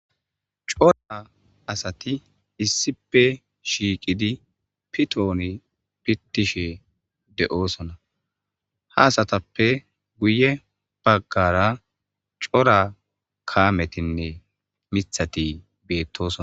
cora asati issipe shiiqidi pitooni pittishe de7oosona haasatappe guye baggara cora kaametinne mithati beettoson